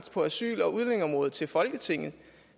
på asyl og udlændingeområdet til folketinget